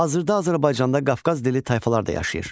Hazırda Azərbaycanda Qafqaz dilli tayfalar da yaşayır.